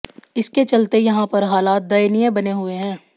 इसके चलते यहां पर हालात दयनीय बने हुए हैं